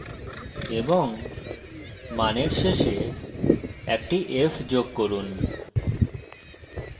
এবং মানের শেষে একটি f যোগ করুন